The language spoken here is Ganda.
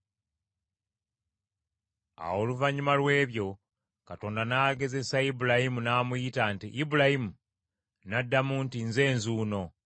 Awo oluvannyuma lw’ebyo, Katonda n’agezesa Ibulayimu, n’amuyita nti, “Ibulayimu!” N’addamu nti, “Nze nzuuno.”